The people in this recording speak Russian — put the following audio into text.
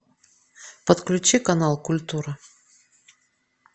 подключи канал культура